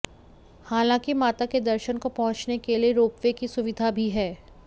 हालांकि माता के दर्शन को पहुंचने के लिए रोपवे की सुविधा भी है